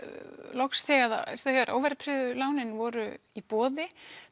loks þegar óverðtryggðu lánin voru í boði